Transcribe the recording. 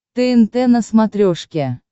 тнт на смотрешке